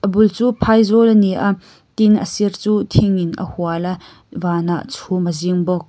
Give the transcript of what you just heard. a bul chu phai zawl a ni a tin a sir chu thing in a hual a vanah chhum a zing bawk.